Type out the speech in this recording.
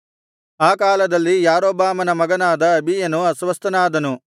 ಆ ಕಾಲದಲ್ಲಿ ಯಾರೊಬ್ಬಾಮನ ಮಗನಾದ ಅಬೀಯನು ಅಸ್ವಸ್ಥನಾದನು